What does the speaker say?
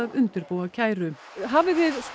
undirbúa kæru hafið þið